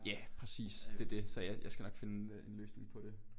Ja præcis det det så jeg jeg skal nok finde en løsning på det